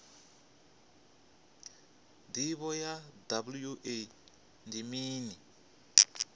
ndivho ya wua ndi mini